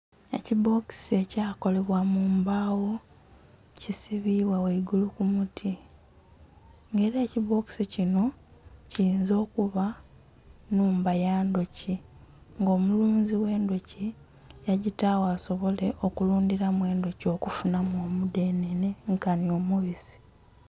Ekibbokisi ekyakolebwa mumbagho kisibibwa ghaigulu kumuti nga era ekibbokisi kinho kiyinza okuba nhumba yandhuki nga omulunzi agh'endhuki yagitagho asobole okulundhiramu endhuki okufunhamu omudhenhe nkanhi omubisi.